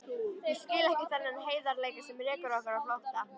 Ég skil ekki þennan heiðarleika sem rekur okkur á flótta.